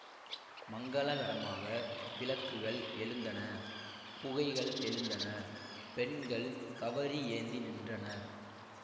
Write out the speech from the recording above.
மங்கலகரமாக விளக்குகள் எழுந்தன புகைகள் எழுந்தன பெண்கள் கவரி ஏந்தி நின்றனர்